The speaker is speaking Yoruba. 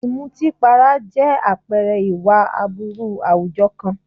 Ìmùtípara jẹ́ àpẹẹrẹ ìwà aburú àwùjọ kan.